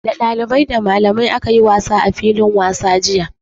Da dalibai, da malamai aka yi wasa a filin wasa jiya.